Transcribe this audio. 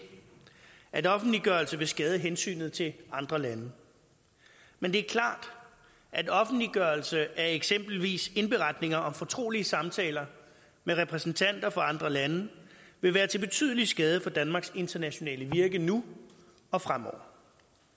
at offentliggørelse vil skade hensynet til andre lande men det er klart at offentliggørelse af eksempelvis indberetninger om fortrolige samtaler med repræsentanter for andre lande vil være til betydelig skade for danmarks internationale virke nu og fremover